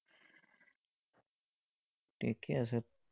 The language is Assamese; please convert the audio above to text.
ঠিকেই আছে।